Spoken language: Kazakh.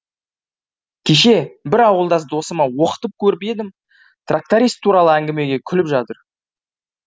кеше бір ауылдас досыма оқытып көріп едім тракторист туралы әңгімеге күліп жатыр